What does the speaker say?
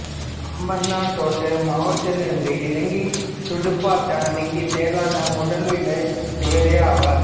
அம்பாந்தோட்டை மாவட்டத்திலிருந்து இலங்கைத் துடுப்பாட்ட அணிக்கு தேர்வான முதல் வீரர் இவர் ஆவார்